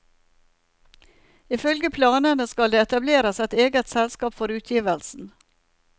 Ifølge planene skal det etableres et eget selskap for utgivelsen.